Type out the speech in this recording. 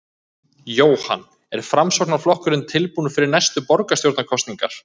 Jóhann: Er Framsóknarflokkurinn tilbúinn fyrir næstu borgarstjórnarkosningar?